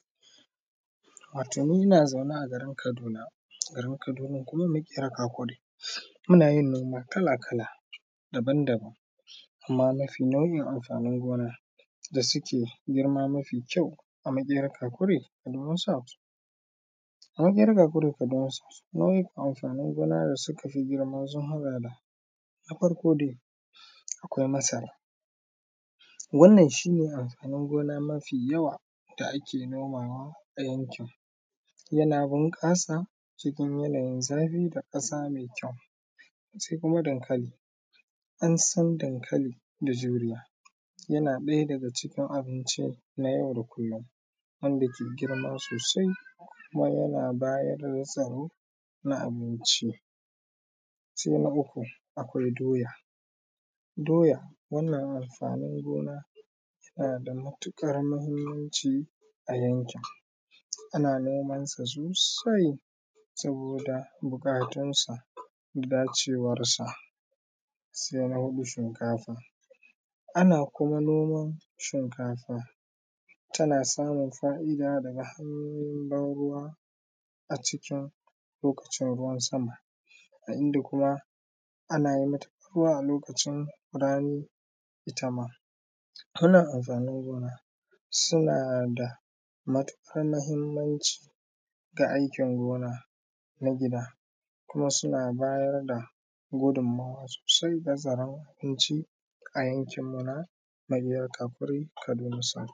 Wato ni ina zaune a garin Kaduna, garin Kaduna kuma Makera Kakuri ina yin noma kala-kala daban-daban ina nufin nau’in amfanin gona da suke girma mafi kyau a Makera Kakuri Kaduna South, a Makera Kakuri Kaduna South nau’o’in amfanin gona da suka fi girma sun haɗa da, na farko dai akwai masara wannan shi ne amfanin gona mafi yawa da ake nomawa a yankin yana bunkasa cikin yanayin zafi da kasa mai kyau, sai kuma dankali ansan dankali da juriya yana ɗaya daga cikin abinci na yau da kullum wanda ke girma sosai kuma yana bayar da tsaro na abinci, sai na uku akwai doya doya wannan amfanin gona yana da matuƙar muhimmanci a yankin ana nomansa sosai saboda bukatunsa da dacewarsa, sai na huɗu shinkafa ana kuma noman shinkafa tana samun faida haga hannun banruwa a cikin lokacin ruwan sama a inda kuma ana banruwa a lokacin rani ita ma hana amfanin ruwa suna da matuƙur muhimmanci ga aikin gona na gida kuma suna bayar da gudumuwa sosai bazara inci a yankinmu na Makera Kakuri Kaduna South.